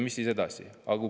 Mis saab edasi?